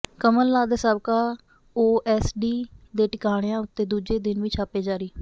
ਕਮਲ ਨਾਥ ਦੇ ਸਾਬਕਾ ਓਐਸਡੀ ਦੇ ਟਿਕਾਣਿਆਂ ਉੱਤੇ ਦੂਜੇ ਦਿਨ ਵੀ ਛਾਪੇ ਜਾਰੀ